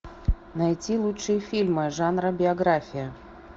найти лучшие фильмы жанра биография